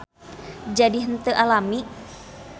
Jadi henteu alami.